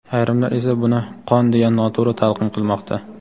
Ayrimlar esa buni qon deya noto‘g‘ri talqin qilmoqda.